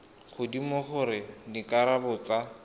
godimo le gore dikarabo tsa